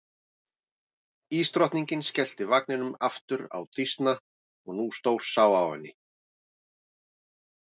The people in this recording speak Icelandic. Ísdrottningin skellti vagninum aftur á Dísna og nú stórsá á henni.